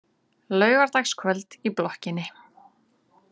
Laugardagskvöld í blokkinni.